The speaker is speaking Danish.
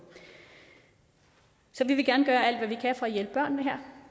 så vi vil gerne gøre alt at hjælpe børnene her